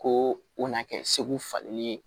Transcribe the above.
Ko o na kɛ segu falenni ye